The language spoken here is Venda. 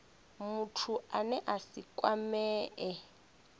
muthu ane a si kwamee